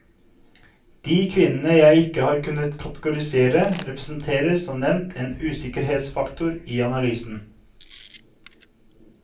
De kvinnene jeg ikke har kunnet kategorisere representerer som nevnt en usikkerhetsfaktor i analysen.